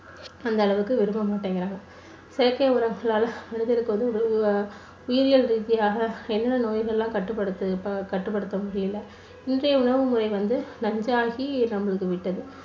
அந்த அளவுக்கு விரும்ப மாட்டேங்கறாங்க. செயற்கை உறங்களால மனிதனுக்கு வந்து உயிரியல் ரீதியாக என்ன நோய்களெல்லாம் கட்டுப்படுத்த கட்டுப்படுத்த முடியல. இன்றைய உணவு முறை வந்து நஞ்சாகி நம்ம